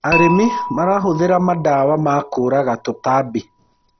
arĩmi marahuthira mandawa ma kuraga tũtambi